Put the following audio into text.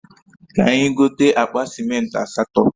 Ka anyi gote akpa simenti asato